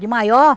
De maior.